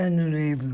Eu não lembro.